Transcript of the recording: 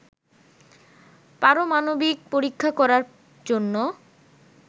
পারমাণবিক পরীক্ষা করার জন্য